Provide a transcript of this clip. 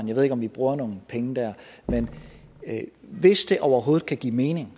jeg ved ikke om vi bruger nogle penge der men hvis det overhovedet kan give mening